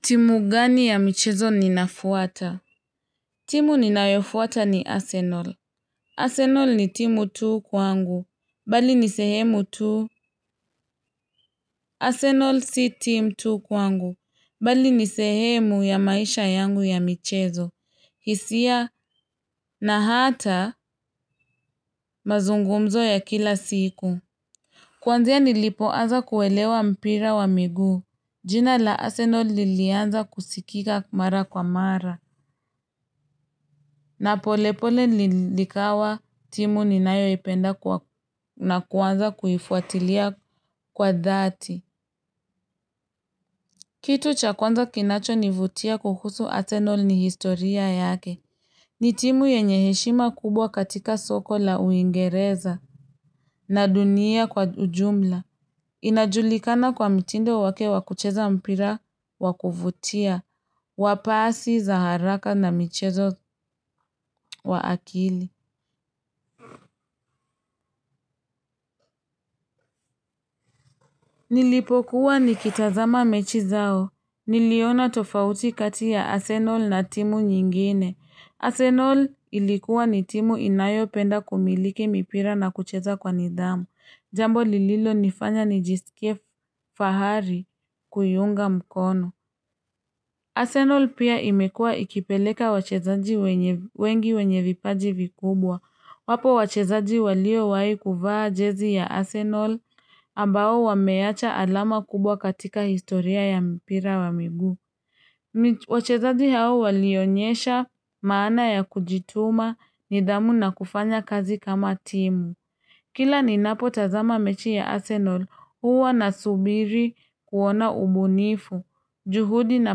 Timu gani ya michezo ninafuata? Timu ninayofuata ni Arsenal. Arsenal ni timu tu kwangu. Bali ni sehemu tu. Arsenal si timu tu kwangu. Bali nisehemu ya maisha yangu ya michezo. Hisia na hata mazungumzo ya kila siku. Kwanzia nilipoanza kuelewa mpira wa miguu. Jina la Arsenal lilianza kusikika mara kwa mara. Na polepole likawa timu ninayo ipenda na kuanza kuifuatilia kwa dhati. Kitu cha kwanza kinachonivutia kuhusu arsenal ni historia yake. Ni timu yenye heshima kubwa katika soko la uingereza na dunia kwa ujumla. Inajulikana kwa mtindo wake wa kucheza mpira wa kuvutia wa pasi za haraka na michezo wa akili. Nilipokuwa nikitazama mechi zao. Niliona tofauti kati ya Arsenal na timu nyingine. Arsenal ilikuwa ni timu inayopenda kumiliki mipira na kucheza kwa nidhamu. Jambo lililonifanya nijisikie fahari kuiunga mkono. Arsenal pia imekuwa ikipeleka wachezaji wengi wenye vipaji vikubwa, wapo wachezaji waliowahi kuvaa jezi ya Arsenal, ambao wameacha alama kubwa katika historia ya mpira wa miguu. Wachezaji hao walionyesha maana ya kujituma, nidhamu na kufanya kazi kama timu. Kila ninapotazama mechi ya Arsenal, huwa na subiri kuona ubunifu, juhudi na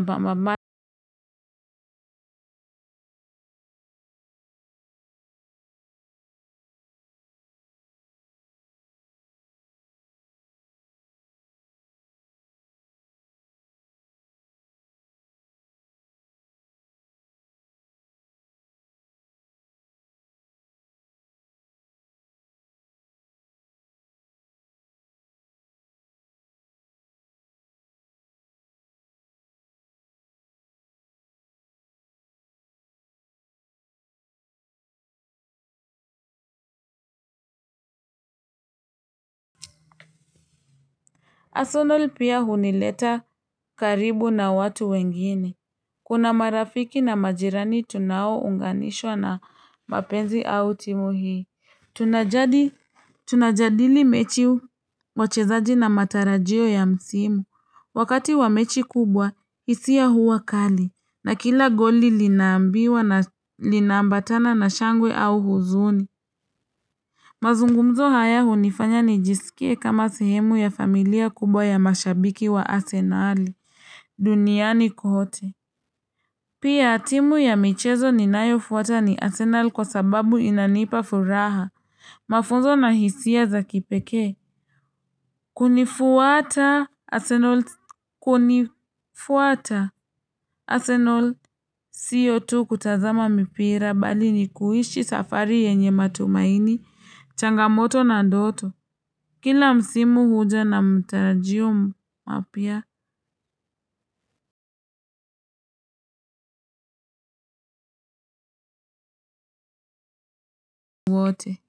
ma Arsenal pia hunileta karibu na watu wengine. Kuna marafiki na majirani tunaounganishwa na mapenzi au timu hii. Tunajadili mechi, wachezaji na matarajio ya msimu. Wakati wa mechi kubwa hisia huwa kali na kila goli linaambiwa na linaambatana na shangwe au huzuni. Mazungumzo haya hunifanya nijisikie kama sehemu ya familia kubwa ya mashabiki wa arsenal duniani kote. Pia timu ya michezo ninayofuata ni arsenal kwa sababu inanipa furaha. Mafunzo na hisia za kipekee. Kunifuata arsenal, kunifuata Arsenal sio tu kutazama mipira bali ni kuishi safari yenye matumaini, changamoto na ndoto. Kila msimu huja na matarajio mapia wote.